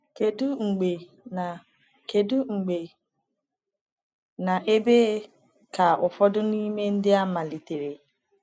Kedu mgbe na Kedu mgbe na ebe ka ụfọdụ n’ime ndị a malitere?